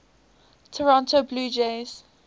toronto blue jays